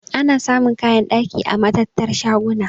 Ana samun kayan ɗaki a matattar shaguna.